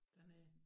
Dernede